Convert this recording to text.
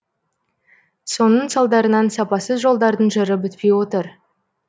соның салдарынан сапасыз жолдардың жыры бітпей отыр